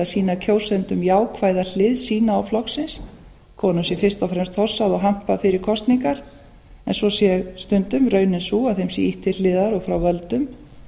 sýna kjósendum jákvæða hlið sína og flokksins konum sé fyrst og fremst hossað og hampað fyrir kosningar en svo sé stundum raunin sú að þeim sé ýtt til hliðar og frá völdum